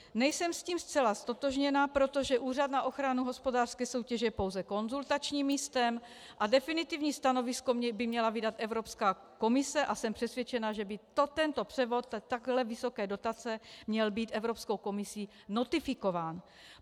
Nejsem s tím zcela ztotožněna, protože Úřad na ochranu hospodářské soutěže je pouze konzultačním místem a definitivní stanovisko by měla vydat Evropská komise, a jsem přesvědčena, že by tento převod takhle vysoké dotace měl být Evropskou komisí notifikován.